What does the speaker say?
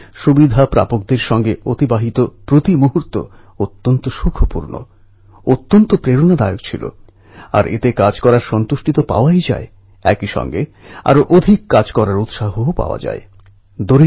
আমার প্রিয় দেশবাসী এই যে মূর্তি সর্দার প্যাটেল প্রতিষ্ঠা করেছিলেন তার একটা বৈশিষ্ট্য হচ্ছে এখানে লোকমান্য তিলকজী চেয়ারে উপবিষ্ট